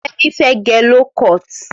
Femi fẹ̀ gẹ lókọt